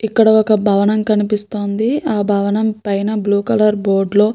ఇక్కడ ఒక భవనం కనిపిస్తుంది ఆ భవనం పైన బ్లూ కలర్ బోర్డు లో --